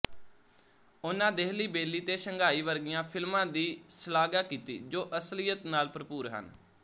ਉਨ੍ਹਾਂ ਦੇਹਲੀ ਬੇਲੀ ਤੇ ਸ਼ੰਘਾਈ ਵਰਗੀਆਂ ਫ਼ਿਲਮਾਂ ਦੀ ਸ਼ਲਾਘਾ ਕੀਤੀ ਜੋ ਅਸਲੀਅਤ ਨਾਲ ਭਰਪੂਰ ਹਨ